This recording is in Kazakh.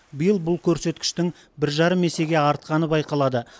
биыл бұл көрсеткіштің бір жарым есеге артқаны байқалады